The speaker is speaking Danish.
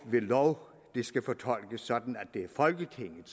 ved lov skal fortolkes sådan at det er folketinget